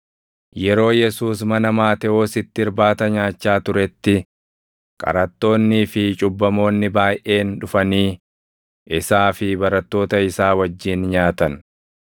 Yeroo Yesuus mana Maatewositti irbaata nyaachaa turetti, qaraxxoonnii fi cubbamoonni baayʼeen dhufanii isaa fi barattoota isaa wajjin nyaatan.